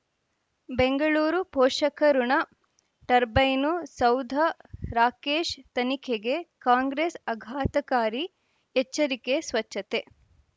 ಬೆಂಗಳೂರು ಪೋಷಕಋಣ ಟರ್ಬೈನು ಸೌಧ ರಾಕೇಶ್ ತನಿಖೆಗೆ ಕಾಂಗ್ರೆಸ್ ಆಘಾತಕಾರಿ ಎಚ್ಚರಿಕೆ ಸ್ವಚ್ಛತೆ